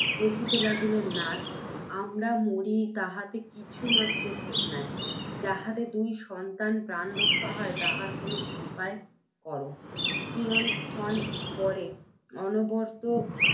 কহিতে লাগিলেন, নাথ! আমরা মরি তাহাতে কিছুমাত্র খেদ নাই, যাহাতে দুটি সন্তানের প্রাণ রক্ষা হয়, তাহার কোনও উপায় কর। কিয়ৎ ক্ষণ পরে অর্ণবপোত